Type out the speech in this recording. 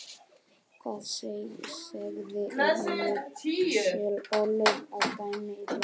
Hvað segiði, er Michael Oliver að dæma illa?